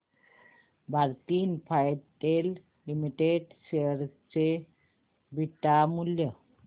Bharti Infratel limited share चे beta मूल्य